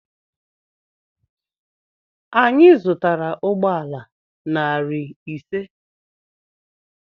Anyị zụtara ụgbọala narị ise.